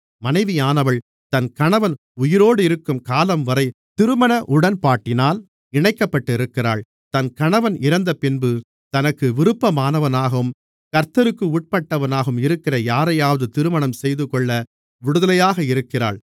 மனைவியானவள் தன் கணவன் உயிரோடிருக்கும் காலம்வரை திருமண உடன்பாட்டினால் இணைக்கப்பட்டிருக்கிறாள் தன் கணவன் இறந்தபின்பு தனக்கு விருப்பமானவனாகவும் கர்த்தருக்கு உட்பட்டவனாகவும் இருக்கிற யாரையாவது திருமணம் செய்துகொள்ள விடுதலையாக இருக்கிறாள்